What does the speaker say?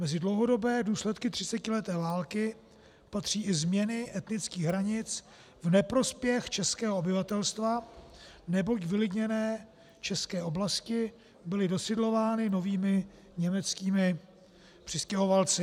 Mezi dlouhodobé důsledky 30leté války patří i změny etnických hranic v neprospěch českého obyvatelstva, neboť vylidněné české oblasti byly dosidlovány novými německými přistěhovalci.